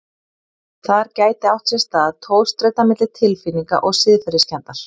Þar gæti átt sér stað togstreita milli tilfinninga og siðferðiskenndar.